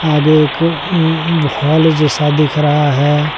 आगे एक हॉल जैसा दिख रहा है।